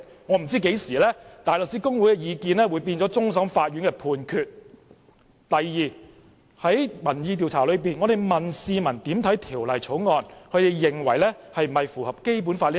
我不知何時大律師公會的意見會變成終審法院的判決；第二，在民意調查中，我們向市民提出有關《條例草案》是否符合《基本法》的問題。